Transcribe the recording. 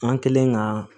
An kɛlen ka